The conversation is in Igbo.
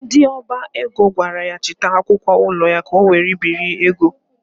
Ndị ọba ego gwara ya chịta akwụkwọ ụlọ ya ka ọ were biri ego.